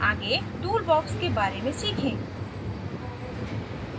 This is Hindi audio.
आगे toolbox के बारे में सीखें